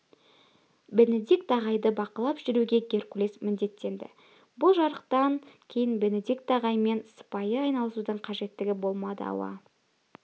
бенедикт ағайды бақылап жүруге геркулес міндеттенді бұл жарлықтан кейін бенедикт ағаймен сыпайы айналысудың қажеттігі болмады ауа